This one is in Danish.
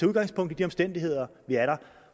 udgangspunkt i de omstændigheder der er